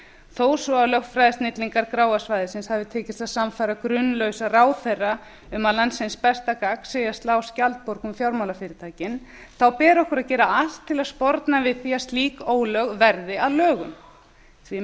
þó svo lögfræðisnillingum gráa svæðisins hafi tekist að sannfæra grunlausa ráðherra um að landsins besta gagn sé að slá skjaldborg um fjármálafyrirtækin á ber okkur til að gera allt til að sporna við því að slík ólög verði að lögum því